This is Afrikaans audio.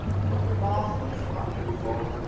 maag ongemaklik vol